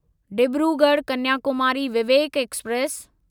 Dibrugarh Kanyakumari Vivek express